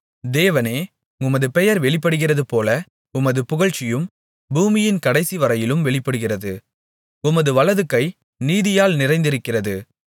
தேவனே உமது பெயர் வெளிப்படுகிறதுபோல உமது புகழ்ச்சியும் பூமியின் கடைசிவரையிலும் வெளிப்படுகிறது உமது வலதுகை நீதியால் நிறைந்திருக்கிறது